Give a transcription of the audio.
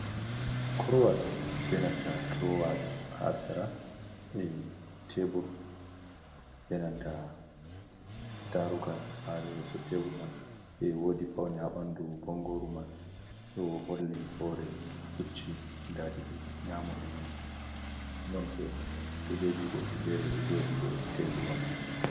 Korowal benanta durowa ha sira e tebur benanta Darugal ha yeso tebur man,e wodi Paune ha ɓandu bongoru man, ɗo holli hore pucci guda ɗiɗi nyamu e nano, nonbo kujeji godɗi fere ɗo joɗi dou Teburwa man.